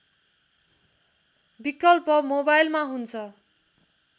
विकल्प मोबाइलमा हुन्छ